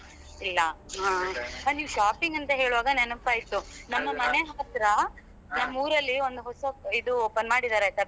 ಇಲ್ಲಾ ಹಾ ನೀವ್ shopping ಅಂತ ಹೇಳ್ವಾಗ ನೆನಪಾಯ್ತು ನಮ್ಮ ಮನೆ ಹತ್ರ ನಮ್ಮೂರಲ್ಲಿ ಒಂದು ಹೊಸ ಇದು open ಮಾಡಿದ್ದಾರೆ ಆಯ್ತಾ.